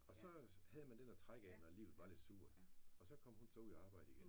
Og så havde man den at trække af når livet var lidt surt. Og så kom hun så ud at arbejde igen